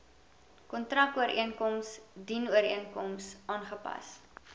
kontrakooreenkoms dienooreenkomstig aangepas